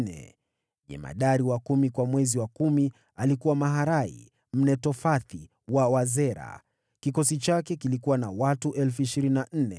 Jemadari wa kumi kwa mwezi wa kumi alikuwa Maharai Mnetofathi wa Wazera. Kikosi chake kilikuwa na watu 24,000.